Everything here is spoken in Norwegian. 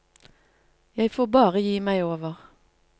Jeg får bare gi meg over.